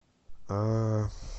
а